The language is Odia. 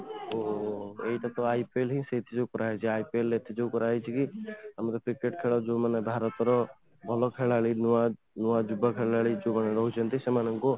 ଯୋଉ ଏଇଟା ତ IPL ହିଁ ସେଇଥିରୁ କରାହେଇଛି IPL ଏଥିପାଇଁ କରାହେଇଛି କି ଆମର cricket ଖେଳ ଯୋଉ ମାନେ ଭାରତ ର ଭଲ ଖେଳାଳୀ ନୂଆ ନୂଆ ଯୁବା ଖେଳାଳୀ ଯୋଉମାନେ ରହୁଛନ୍ତି ସେମାନଙ୍କୁ